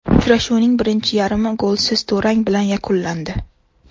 Uchrashuvning birinchi yarmi golsiz durang bilan yakunlandi.